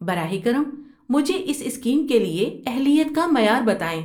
براہ کرم مجھے اس اسکیم کے لیے اہلیت کا معیار بتائیں۔